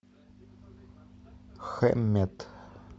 хэмметт